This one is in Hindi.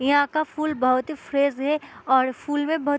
यहाँ का फूल बहुत ही फ्रेश है और फूल में बहुत --